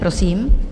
Prosím.